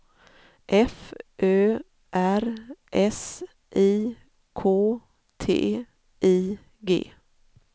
F Ö R S I K T I G